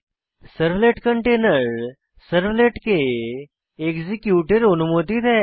servlet কন্টেইনের সার্ভলেটকে এক্সিকিউটের অনুমতি দেয়